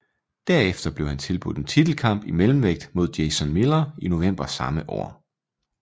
Derefter blev han tilbudt en titelkamp i mellemvægt mod Jason Miller i november samme år